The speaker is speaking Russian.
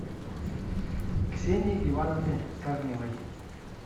ксении ивановне корневой